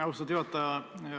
Austatud juhataja!